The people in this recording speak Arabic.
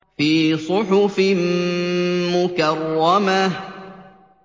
فِي صُحُفٍ مُّكَرَّمَةٍ